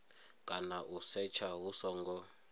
kana u setsha hu songo